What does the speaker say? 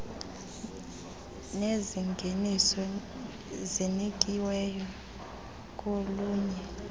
nezingeniso zinikiweyo kolunye